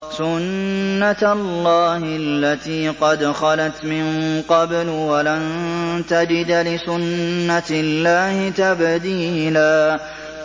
سُنَّةَ اللَّهِ الَّتِي قَدْ خَلَتْ مِن قَبْلُ ۖ وَلَن تَجِدَ لِسُنَّةِ اللَّهِ تَبْدِيلًا